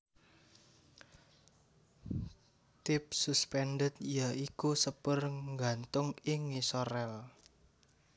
Tipe suspended ya iku sepur nggantung ing ngisor ril